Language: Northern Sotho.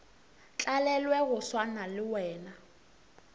tlalelwe go swana le wena